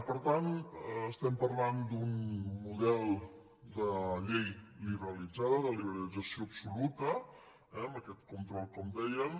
per tant estem parlant d’un model de llei liberalitzada de liberalització absoluta amb aquest control com deien